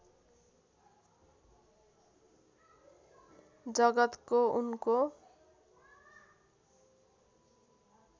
जगतको उनको